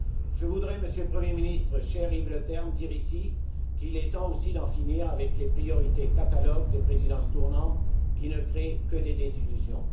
Je voudrais, Monsieur le Premier ministre, cher Yves Leterme, dire ici qu'il est temps aussi d'en finir avec les priorités catalogues des présidences tournantes, qui ne créent que des désillusions.